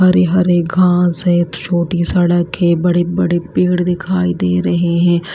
हरे-हरे घास है छोटी सड़क है बड़े-बड़े पेड़ दिखाई दे रहे हैं।